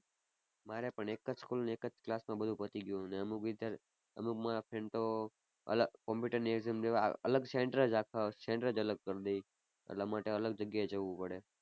મારે પણ એ જ school ને એક જ class માં બધુ પતી ગયું ને અમુક વિદ્યા~ અમુક મારા friend તો અલગ કમ્પ્યુટર ની exam દેવા અલગ center જ આખા center જ અલગ કરી દે એટલા માટે અલગ જગ્યા એ જવું પડે.